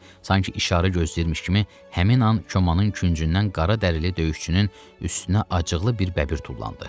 Sanki işarə gözləyirmiş kimi həmin an komanın küncündən qara dəli döyüşçünün üstünə acıqlı bir bəbir tullandı.